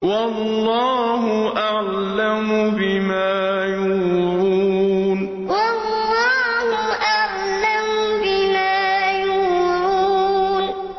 وَاللَّهُ أَعْلَمُ بِمَا يُوعُونَ وَاللَّهُ أَعْلَمُ بِمَا يُوعُونَ